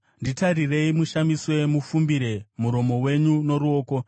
Nditarire ushamiswe; ufumbire muromo wako noruoko.